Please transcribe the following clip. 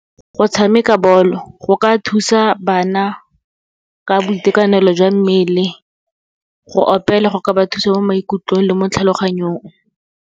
Go tshameka bolo, go ka thusa bana ka boitekanelo jwa mmele. Go opela, go ka ba thusa mo maikutlong le mo tlhaloganyong.